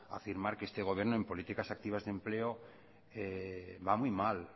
afirmar que este gobierno en políticas activas de empleo va muy mal